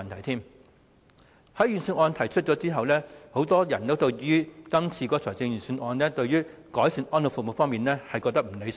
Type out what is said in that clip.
在財政預算案公布之後，很多人認為今次預算案改善安老服務方面的內容，並不理想。